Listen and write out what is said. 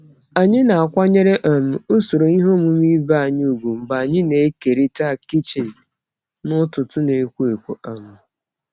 Anyị na-akwanyere um usoro ihe omume ibe anyị ùgwù mgbe anyị na-ekerịta kichin n'ụtụtụ na-ekwo ekwo. um